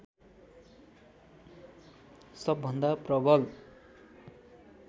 सबभन्दा प्रवल